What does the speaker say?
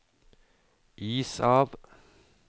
is av